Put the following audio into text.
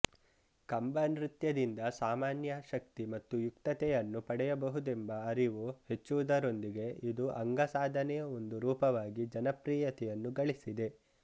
ಕಂಬನೃತ್ಯದಿಂದ ಸಾಮಾನ್ಯ ಶಕ್ತಿ ಮತ್ತು ಯುಕ್ತತೆಯನ್ನು ಪಡೆಯಬಹುದೆಂಬ ಅರಿವು ಹೆಚ್ಚುವುದರೊಂದಿಗೆ ಇದು ಅಂಗಸಾಧನೆಯ ಒಂದು ರೂಪವಾಗಿ ಜನಪ್ರಿಯತೆಯನ್ನು ಗಳಿಸಿದೆ